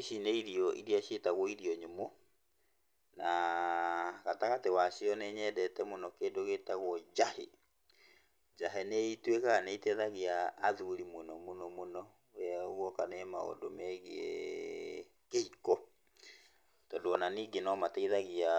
Ici nĩ irio iria ciĩtagwo irio nyũmũ, na gatagatĩ wacio nĩnyendete mũno kĩndũ gĩtagũo njahĩ. Njahĩ nĩituĩkaga nĩiteithagia athuri mũno mũno mũno, guoka nĩ maũndũ megiĩ kĩhiko, tondũ ona ningĩ no mateithagia